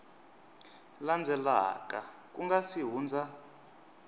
landzelaka ku nga si hundza